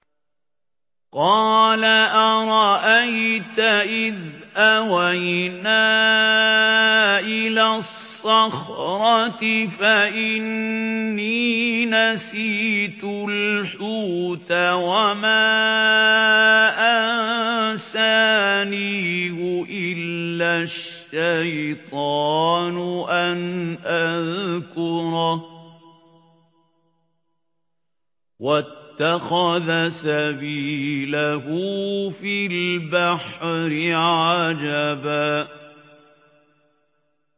قَالَ أَرَأَيْتَ إِذْ أَوَيْنَا إِلَى الصَّخْرَةِ فَإِنِّي نَسِيتُ الْحُوتَ وَمَا أَنسَانِيهُ إِلَّا الشَّيْطَانُ أَنْ أَذْكُرَهُ ۚ وَاتَّخَذَ سَبِيلَهُ فِي الْبَحْرِ عَجَبًا